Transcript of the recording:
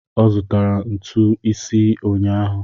Ọ zụtara ntu isii ụnyahụ